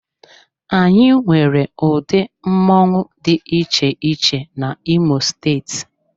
Anyị nwere ụdị mmoṅụ dị iche iche na imo steeti.